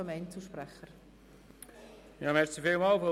Danach kommen die Einzelsprecher.